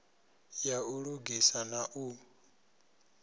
ya u lugisa na u